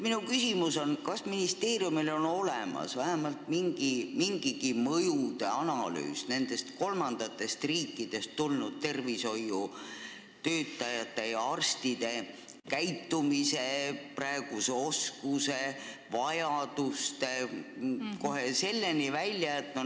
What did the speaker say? Minu küsimus on: kas ministeeriumil on olemas vähemalt mingigi mõjude analüüs, mis on keskendunud kolmandatest riikidest tulnud tervishoiutöötajate käitumisele, oskustele ja vajadustele?